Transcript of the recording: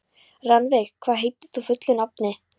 Rannveig, hvað heitir þú fullu nafni?